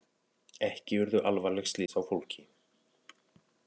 Ekki urðu alvarleg slys á fólki